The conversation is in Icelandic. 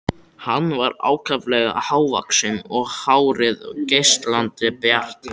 Hann var ákaflega hávaxinn og hárið geislandi bjart.